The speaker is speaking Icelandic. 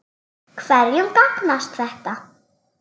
Hverjum gagnast þetta?